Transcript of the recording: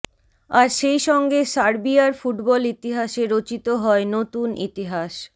আর সেইসঙ্গে সার্বিয়ার ফুটবল ইতিহাসে রচিত হয় নতুন ইতিহাস